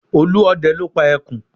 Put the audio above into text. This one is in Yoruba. Olúọdẹ ló pa ẹkùn